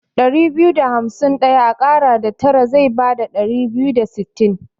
Ɗari biyu da hamsi Ɗaya a ƙara da tara zai bada Ɗari biyu da sittin.